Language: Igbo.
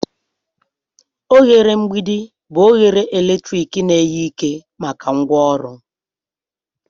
Oghere mgbidi bụ oghere eletrik na-enye ike maka ngwaọrụ.